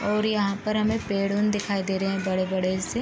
और यहाँ पर हमें पेड़ उड़ दिखाई दे रहे हैं बड़े बड़े से |